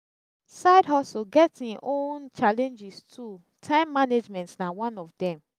side hustle get him own challenges too time management na one of dem